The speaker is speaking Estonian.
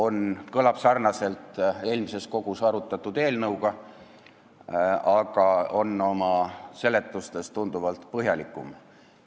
See kõlab sarnaselt eelmises kogus arutatud eelnõu pealkirjaga, aga täna esitatav eelnõu on oma seletustes tunduvalt põhjalikum.